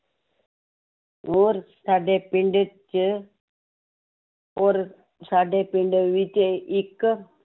ਔਰ ਸਾਡੇ ਪਿੰਡ 'ਚ ਔਰ ਸਾਡੇ ਪਿੰਡ ਵਿੱਚ ਇੱਕ